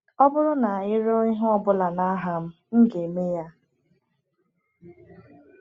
Ọ bụrụ na ị rịọ ihe ọ bụla n’aha m, m ga-eme ya.